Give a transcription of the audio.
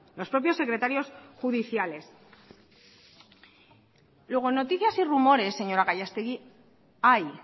los propios secretarios judiciales luego noticias y rumoresl señora gallastegui hay